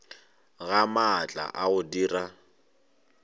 ga maatla a go dira